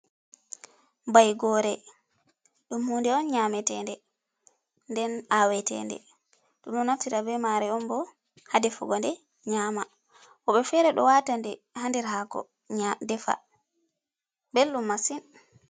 Baigore ɗum hunde on nyametende, nden awetende ɗum ɗo naftira be mare on bo ha defugo nde nyama. Woɓɓe fere ɗo wata nde ha ndir hako defa bellum masin.